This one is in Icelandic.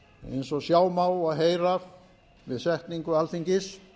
eins og sjá má og heyra við setningu alþingis